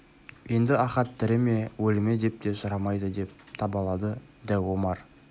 енді ахат тірі ме өлі ме деп те сұрамайды деп табалады дәу омар